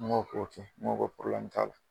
Mɔgɔw ko ten ŋo ko t'a la